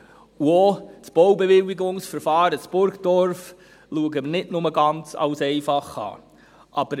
Auch das Baubewilligungsverfahren in Burgdorf sehen wir nicht nur als ganz einfach an.